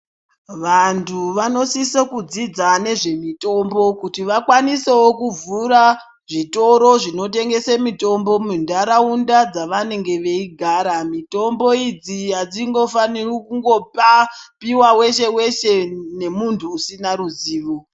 Vantu vanosisa kudzidza nezvemitombo kuti vakwanisewo kuvhura zvitoro zvinotengese mitombo mundaraunda dzavanenge veigara mitombo idzi adzingo faniri kungo piwa weshe weshe ne muntu usina ruzivo